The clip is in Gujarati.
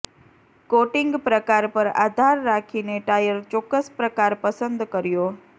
કોટિંગ પ્રકાર પર આધાર રાખીને ટાયર ચોક્કસ પ્રકાર પસંદ કર્યો